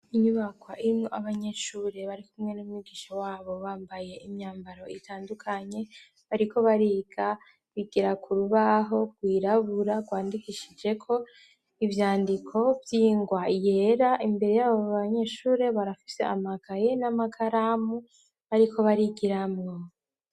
Inyubakwa irimwo abanyeshuri barikumwe n'umwigisha wabo bambaye imyambaro itandukanye, bariko bariga, bigira ku rubaho rwirabura rwandikishijeko ivyandiko vy'ingwa yera, imbere y'abo banyeshuri barafise amakaye n'amakaramu bariko barigiramwo.